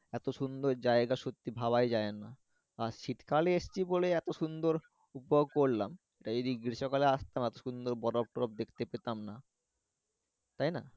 এতো সুন্দর জাইগা সত্যিই ভাবা ই যাইনা আর শীতকালে এসছি বলেই এতো সুন্দর উপভোগ করলাম তাই যদি গ্রীষ্মকালে আসতাম এতো সুন্দর বরফ তরফ দেখতে পেতাম না তাই না